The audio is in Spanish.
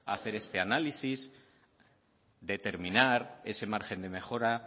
hacer este análisis determinar ese margen de mejora